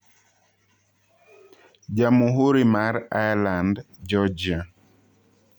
Jamuhuri mar Ireland-Georgia.